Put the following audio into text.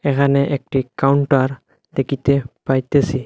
এখানে একটি কাউন্টার দেকিতে পাইতেসি।